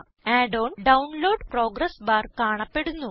add on download progress bar കാണപ്പെടുന്നു